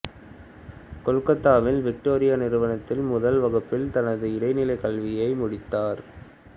கொல்கத்தாவின் Victoria நிறுவனத்தில் முதல் வகுப்பில் தனது இடைநிலைக் கல்வியை முடித்தார்